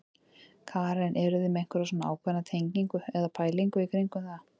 Karen: Eruð þið með einhverja svona ákveðna tengingu eða pælingu í kringum það?